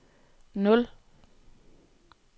nul